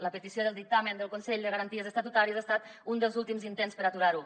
la petició del dictamen del consell de garanties estatutàries ha estat un dels últims intents per aturar ho